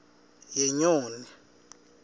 yenyoni